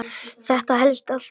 Þetta helst alltaf í hendur.